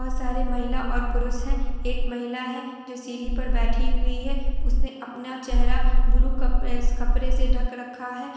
बहुत सारे महिला और पुरुष है| एक महिला है जो सीढ़ी पर बैठी है| उस महिला ने अपना चेहरा ब्लू कपड़े- कपड़ा से ढक रखा है।